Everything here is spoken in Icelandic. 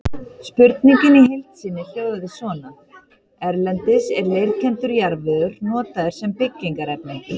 Spurningin í heild sinni hljóðaði svona: Erlendis er leirkenndur jarðvegur notaður sem byggingarefni.